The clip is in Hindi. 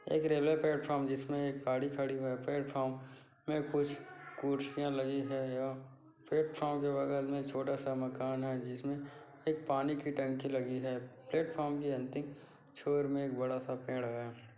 एक रेलवे प्लेटफॉर्म जिसमे एक गाड़ी खड़ी हुई प्लेटफॉर्म में कुछ कुर्सियाँ लगी है प्लेटफॉर्म के बगल में छोटा सा मकान हैं जिसमे एक पानी की टंकी लगी हैं प्लेटफॉर्म के अंतिम छोर में एक बड़ा सा पेड़ हैं।